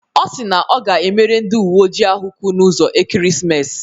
Ọ si na ọ ga-emere ndị uwe ojii ahụ kwu n'ụzọ ekeresimesi.